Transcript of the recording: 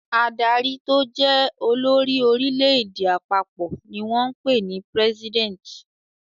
Adarí tó jẹ́ olórí orílẹ̀-èdè àpapọ̀ ni wọ́n ń pè ní president.